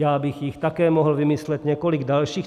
Já bych jich také mohl vymyslet několik dalších.